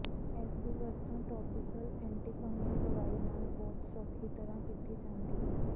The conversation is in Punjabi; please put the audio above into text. ਇਸਦੀ ਵਰਤੋਂ ਟੌਪੀਕਲ ਐਂਟੀਫੰਗਲ ਦਵਾਈ ਨਾਲ ਬਹੁਤ ਸੌਖੀ ਤਰ੍ਹਾਂ ਕੀਤੀ ਜਾਂਦੀ ਹੈ